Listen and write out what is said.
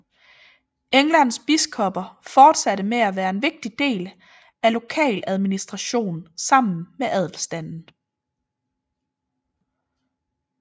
Englands biskopper fortsatte med at være en vigtig del af lokaladministration sammen med adelstanden